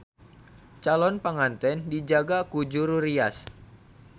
Calon panganten dijaga ku juru rias.